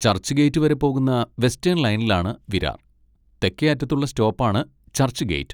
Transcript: ചർച്ച്ഗേറ്റ് വരെ പോകുന്ന വെസ്റ്റേൺ ലൈനിലാണ് വിരാർ, തെക്കേ അറ്റത്തുള്ള സ്റ്റോപ്പ് ആണ് ചർച്ച്ഗേറ്റ്.